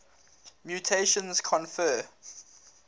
mutations confer